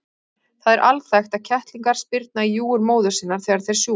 Það er alþekkt að kettlingar spyrna í júgur móður sinnar þegar þeir sjúga.